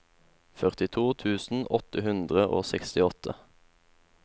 førtito tusen åtte hundre og sekstiåtte